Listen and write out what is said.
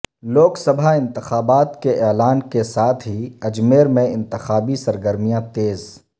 لوک سبھا انتخابات کے اعلان کے ساتھ ہی اجمیر میں انتخابی سرگرمیاں تیز